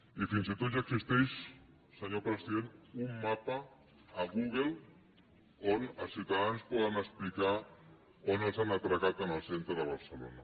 i fins i tot ja existeix senyor president un mapa a google on els ciutadans poden explicar on els han atracat en el centre de barcelona